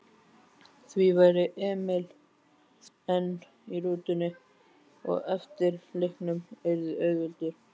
Þá væri Emil enn í rútunni og eftirleikurinn yrði auðveldur.